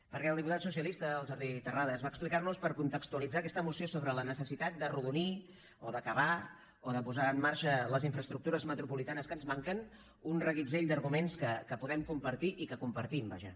perquè el diputat socialista el jordi terrades va explicar nos per contextualitzar aquesta moció sobre la necessitat d’arrodonir o d’acabar o de posar en marxa les infraestructures metropolitanes que ens manquen un reguitzell d’arguments que podem compartir i que compartim vaja